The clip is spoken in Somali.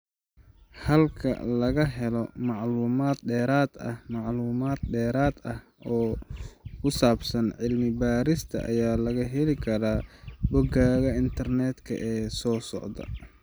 Halka laga Helo Macluumaad Dheeraad ah Macluumaad dheeraad ah oo ku saabsan cilmi-baarista ayaa laga heli karaa boggaga internetka ee soo socda.